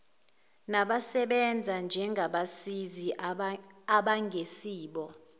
nabasebenza njengabasizi abangesibo